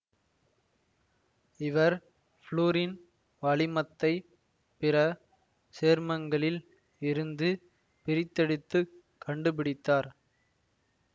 இவர் ஃவுளூரின் வளிமத்தைப் பிற சேர்மங்களில் இருந்து பிரித்தெடுத்துக் கண்டுபிடித்தார்